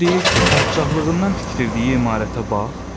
O deyir ki, padşahlığından tikdirdiyi imarətə bax.